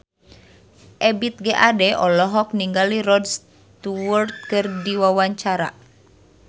Ebith G. Ade olohok ningali Rod Stewart keur diwawancara